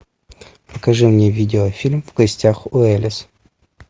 покажи мне видеофильм в гостях у элис